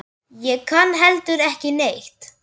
Ég kann heldur ekki neitt.